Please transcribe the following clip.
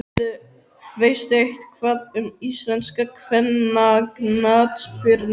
Veistu eitthvað um íslenska kvennaknattspyrnu?